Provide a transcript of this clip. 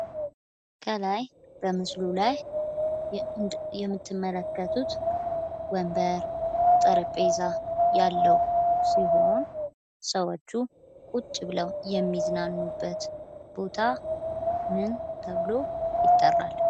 ከላይ ምስሉ ላይ የምትመለከቱት ወንበር፣ ጠረጴዛ ያለው ሲሆን ሰዎቹ ቁጭ ብለው የሚዝናኑበት ቦታምን ተብሎ ይጠራል?